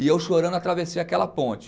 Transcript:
E eu chorando atravessei aquela ponte.